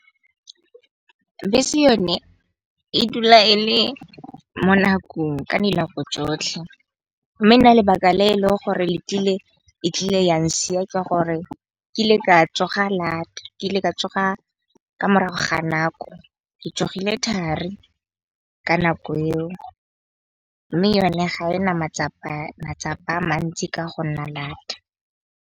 Bese yone e dula e le mo nakong ka dinako tsotlhe. Mme nna lebaka le e leng gore e tlile yang siya ke gore, kile ka tsoga lata, ke ile ka tsoga ka morago ga nako. Ke tsogile thari ka nako eo mme yone ga ena matsapa a mantsi ka go nna lata.